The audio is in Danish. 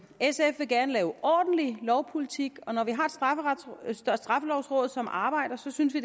sf vil gerne lave ordentlig lovpolitik og når vi har straffelovrådet som arbejder synes vi